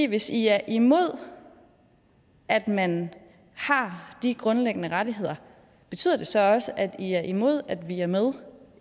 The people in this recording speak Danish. hvis i er imod at man har de grundlæggende rettigheder betyder det så også at i er imod at vi er med